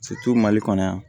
mali kɔnɔ yan